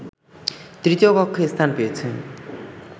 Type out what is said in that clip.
তৃতীয় কক্ষে স্থান পেয়েছে